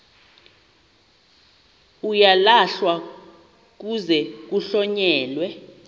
uyalahlwa kuze kuhlonyelwe